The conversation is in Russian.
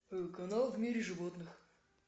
канал в мире животных